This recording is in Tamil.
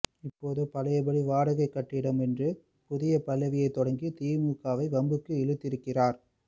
இப்போது பழையபடி வாடகைக் கட்டிடம் என்று புதிய பல்லவியை தொடங்கி திமுகவை வம்புக்கு இழுத்திருக்கிறார்